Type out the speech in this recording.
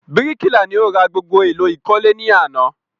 Bíríkìlà ni o ra gbogbo èlò ìkọ́lé ní àná